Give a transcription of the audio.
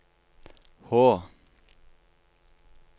H